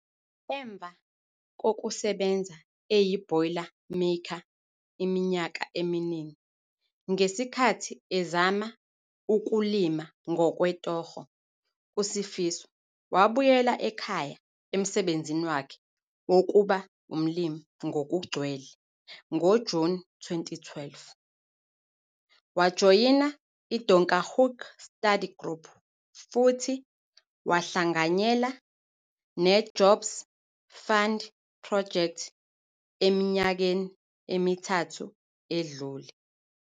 Emva kokusebenza eyi-boilermaker iminyaka eminingi ngesikhathi ezama ukulima ngokwetoho, iSifiso wabuyela ekhaya emsebenzini wakhe wokuba umlimi ngokugcwele ngoJuni 2012. Wajoyina i-Donkerhoek Study Group futhi wahlanganyela ne-Jobs Fund Project eminyakeni emithathu edlule.